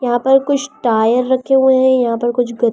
यहां पर कुछ टायर रखे हुए हैं यहां पर कुछ--